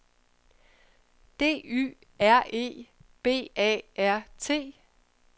D Y R E B A R T